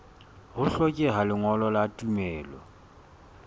ho hlokeha lengolo la tumello